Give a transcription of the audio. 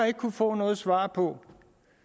ikke kunnet få noget svar på